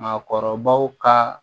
Maakɔrɔbaw ka